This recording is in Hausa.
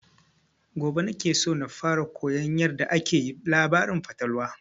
Gobe na ke son fara koyan yarda ake labarin fatalwa